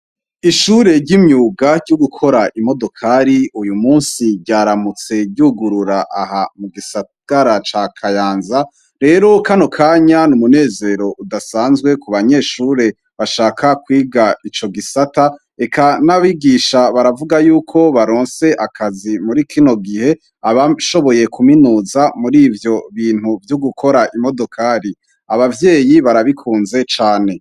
Ishure ryimyuga ryugukora imodokari uyumunsi ryaramutse ryugurura aha mugisagara ca kayanza rero kanokanya numunezero udasanzwe kubanyeshure basaka kwiga ico gisata eka nabigisha baravuga yuko baronse akazi muri kino gihe abashoboye kuminuza muri ivyobintu vyogukora imodokari abavyeyi barabikunze cane